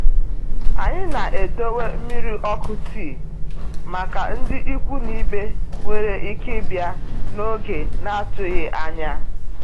Anyị na-edowe mmiri ọkụ tii màkà ndị ikwu na ibe nwéré ike ịbịa n'oge n'atụghị ányá.